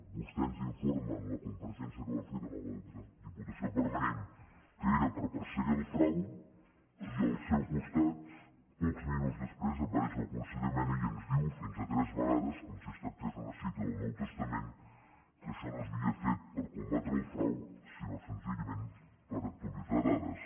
vostè ens informa en la compareixença que va fer durant la diputació permanent que era per perseguir el frau i al seu costat pocs minuts després apareix el conseller mena i ens diu fins a tres vegades com si es tractés d’una cita del nou testament que això no s’havia fet per combatre el frau sinó senzillament per actualitzar dades